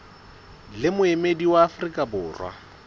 le moemedi wa afrika borwa